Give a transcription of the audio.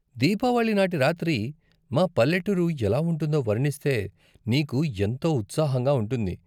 దీపావళి నాటి రాత్రి మా పల్లెటూరు ఎలా ఉంటుందో వర్ణిస్తే నీకు ఎంతో ఉత్సాహంగా ఉంటుంది.